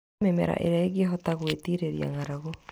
Handa mĩmera ĩrĩa ĩngĩ hota gwĩtirĩrĩria ng'aragu.